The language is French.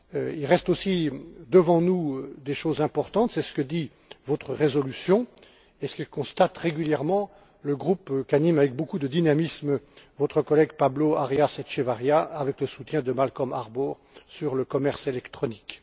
Il reste aussi, devant nous, des choses importantes. C'est ce que dit votre résolution, et ce que constate régulièrement le groupe qu'anime avec beaucoup de dynamisme votre collègue Pablo Arias Echeverría, avec le soutien de Malcom Harbour, sur le commerce électronique.